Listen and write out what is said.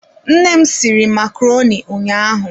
Nne m sịrị macaroni ụnyaahụ.